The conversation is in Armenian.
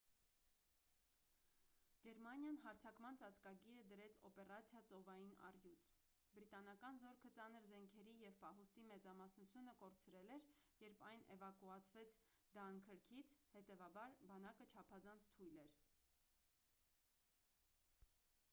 գերմանիան հարձակման ծածկագիրը դրեց օպերացիա ծովային առյուծ բրիտանական զորքը ծանր զենքերի և պահուստի մեծամասնությունը կորցրել էր երբ այն էվակուացվեց դանքըրքից հետևաբար բանակը չափազանց թույլ էր